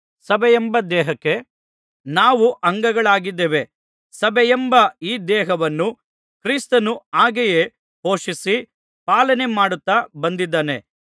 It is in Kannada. ಸಭೆಯೆಂಬ ದೇಹಕ್ಕೆ ನಾವು ಅಂಗಗಳಾಗಿದ್ದೇವೆ ಸಭೆಯೆಂಬ ಈ ದೇಹವನ್ನು ಕ್ರಿಸ್ತನು ಹಾಗೆಯೇ ಪೋಷಿಸಿ ಪಾಲನೆ ಮಾಡುತ್ತಾ ಬಂದಿದ್ದಾನೆ